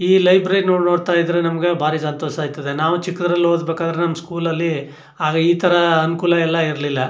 ಈ ಲೈಬ್ರರಿ ನೀವ್ ನೋಡತ್ತಾ ಇದ್ರೆ ನಮ್ಮಗೆ ಬಾರಿ ಸಂತೋಷ ಆಯ್ತದೆ ನಾವು ಚಿಕ್ಕದ್ರಲ್ಲಿ ಓದ್ ಬೇಕಾದ್ರೆ ನಮ್ಮ ಸ್ಕೂಲ್ ಲಲ್ಲಿ ಆದ್ರೆ ಈ ತರ ಅನಕೂಲ ಎಲ್ಲಾ ಇರಲಿಲ್ಲಾ.